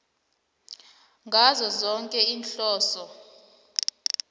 ngazo zoke iinhloso